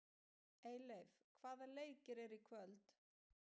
Eyleif, hvaða leikir eru í kvöld?